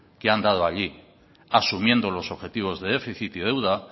que han dado allí asumiendo los objetivos de déficit y deuda